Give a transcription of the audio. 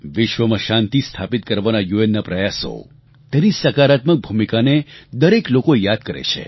વિશ્વમાં શાંતિ સ્થાપિત કરવાનાં યુએનના પ્રયાસો તેની સકારાત્મક ભૂમિકાને દરેક લોકો યાદ કરે છે